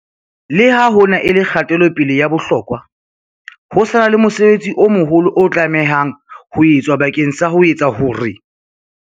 Le ha hona e le kgatelo-pele ya bohlokwa, ho sa na le mosebetsi o moholo o tlamehang ho etswa bakeng sa ho etsa hore